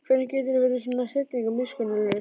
Hvernig geturðu verið svona hryllilega miskunnarlaus?